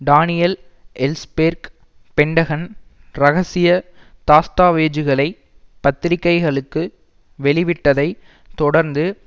Daniel Ellsberg Pentagon இரகசிய தஸ்தாவேஜுகளை பத்திரிகைகளுக்கு வெளிவிட்டதை தொடர்ந்து